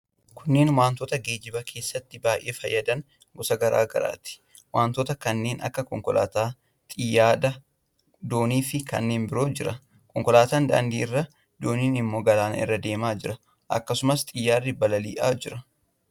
Kunneen wantoota geejjiba keessatti baay'ee fayyadan gosa garaa garaati. Wantoota kanneen akka: konkolaataa, xiyyaada, doonii fi kanneen birootu jira. Konkolaataan daandii irra, dooniin immoo galaana irra deemaa jira. Akkasumas xiyyaarri balali'aa jira.